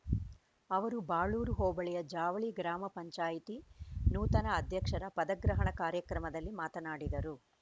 ಅವರು ಬಾಳೂರು ಹೋಬಳಿಯ ಜಾವಳಿ ಗ್ರಾಮ ಪಂಚಾಯತಿ ನೂತನ ಅಧ್ಯಕ್ಷರ ಪದಗ್ರಹಣ ಕಾರ್ಯಕ್ರಮದಲ್ಲಿ ಮಾತನಾಡಿದರು